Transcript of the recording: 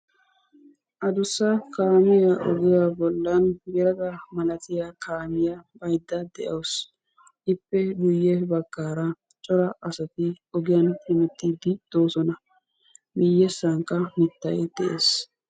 Adduussa kaamiya ogiya bollan yayda malatiya kaamiya yayda de'awusu. Ippe guuye baggara cora asaati ogiyanhememttidi de'osona. Miyesaanka mittay de'ees.